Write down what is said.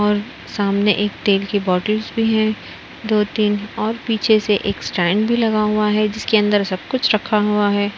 और सामने एक तेल की बोटल्स भी है। दो तीन और पीछे से एक स्टैंड भी लगा हुआ है जिसके अंदर सब कुछ रखा हुआ है।